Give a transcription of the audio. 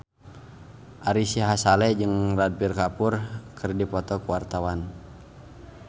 Ari Sihasale jeung Ranbir Kapoor keur dipoto ku wartawan